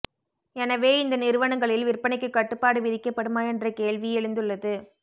எனவே இந்த நிறுவனங்களில் விற்பனைக்கு கட்டுப்பாடு விதிக்கப்படுமா என்ற கேள்வி எழுந்துள்ளது